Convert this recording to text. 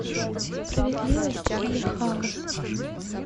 справедливость или хаос